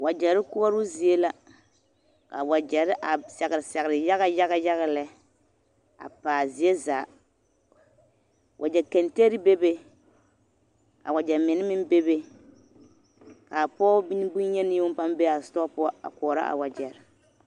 Wagyare koɔroo zie la a wagyare a sagre sagre yaga lɛ a pa a zie zaa wagya kenteri bebe a wagya menne meŋ bebe ka pɔge bonyeni yoŋ paa be a setɔɔ poɔ a koɔrɔ a wagyare.